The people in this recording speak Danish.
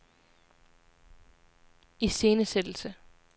iscenesættelse